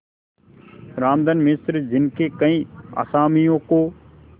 रामधन मिश्र जिनके कई असामियों को